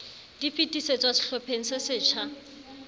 di fetisetswa sehlopheng se setjha